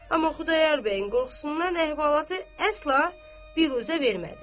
Amma Xudayar bəyin qorxusundan əhvalatı əsla biruzə vermədi.